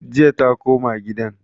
Jiya ta koma gidan?